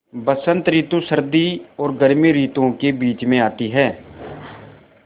बसंत रितु सर्दी और गर्मी रितुवो के बीच मे आती हैँ